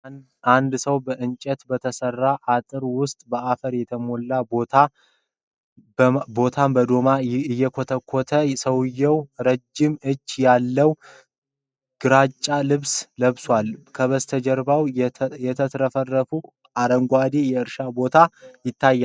አንድ ሰው በእንጨት በተሠራ አጥር ውስጥ በአፈር የተሞላ ቦታን በዶማ እየኮተኮተ ። ሰውየው ረጅም እጀታ ያለው ግራጫ ልብስ ለብሷል። ከበስተጀርባ የተትረፈረፈ አረንጓዴ የእርሻ ቦታ ይታያል